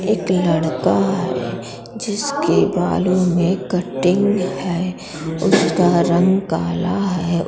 एक लड़का है जिसके बालों में कटिंग है उसक रंग काला है।